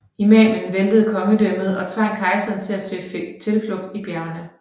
Imamen væltede kongedømmet og tvang kejseren til at søge tilflugt i bjergene